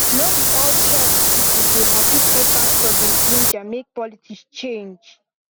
no be all church people dey happy say pastor dey ginger make politics change